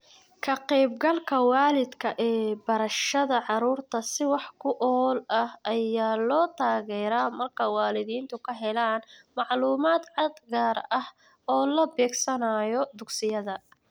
Ka-qaybgalka waalidka ee barashada carruurta si wax ku ool ah ayaa loo taageeraa marka waalidiintu ka helaan macluumaad cad, gaar ah oo la beegsanayo dugsiyada.